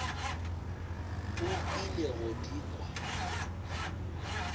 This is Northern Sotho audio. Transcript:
o ile go di kwa